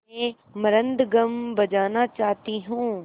मैं मृदंगम बजाना चाहती हूँ